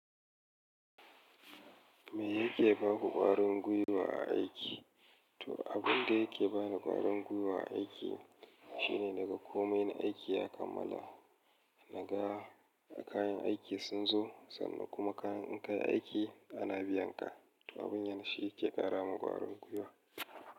Me yake baku ƙwarin gwiwa a aiki? To, abun da yake bani ƙwarin gwiwa a aiki shine daga komai na aiki ya kammala. Naga kayan aiki sun zo sannan kuma kayan in kai aiki ana biyan ka. Abun yan shi yake kara mun ƙwarin gwiwa.